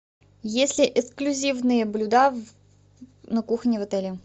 есть ли эксклюзивные блюда на кухне в отеле